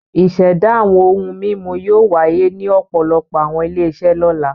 Ìṣẹ̀dá àwọn ohun-mímu yóò wáyé ní ọ̀pọ̀lọpọ̀ àwọn ilé-iṣẹ́ lọ́la.